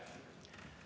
Aitäh!